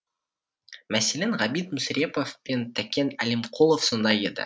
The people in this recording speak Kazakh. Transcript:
мәселен ғабит мүсірепов пен тәкен әлімқұлов сондай еді